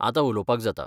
आतां उलोवपाक जाता.